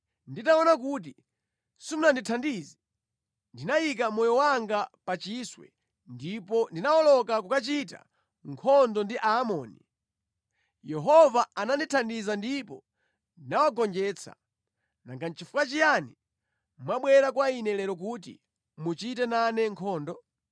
Nditaona kuti simundithandiza, ndinayika moyo wanga pa chiswe ndipo ndinawoloka kukachita nkhondo ndi a Aamoni. Yehova anandithandiza ndipo ndinawagonjetsa. Nanga nʼchifukwa chiyani mwabwera kwa ine lero kuti muchite nane nkhondo?”